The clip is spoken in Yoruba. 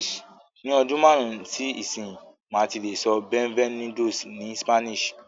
Ni ọdún márùn-ún sí ìsinyìí, màá ti lè sọ "Bienvenidos" ni Spanish